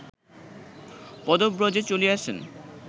পদব্রজে চলিয়াছেন